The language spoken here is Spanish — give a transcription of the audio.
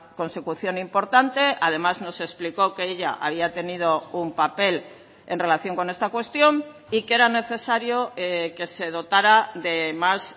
consecución importante además nos explicó que ella había tenido un papel en relación con esta cuestión y que era necesario que se dotara de más